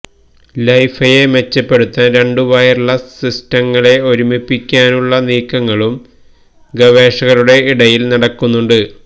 ലൈഫൈയെ മെച്ചപ്പെടുത്തുവാൻ രണ്ടു വയർലെസ്സ് സിസ്റ്റങ്ങളെ ഒരുമിപ്പിക്കാനുള്ള നീക്കങ്ങളും ഗവേഷകരുടെ ഇടയിൽ നടക്കുന്നുണ്ട്